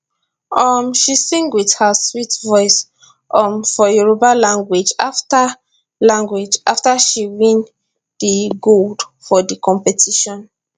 um she sing wit her sweet voice um for yoruba language afta language afta she win di gold for di competition